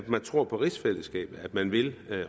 man tror på rigsfællesskabet man vil